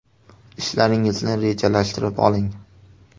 Ishlaringizni rejalashtirib oling!